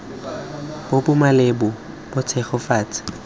bo bo maleba bo tshegetsa